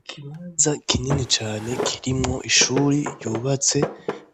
Ikibanza kinini kirimwo ishure yubatse